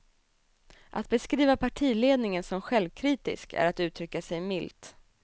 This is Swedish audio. Att beskriva partiledningen som självkritisk är att uttrycka sig milt.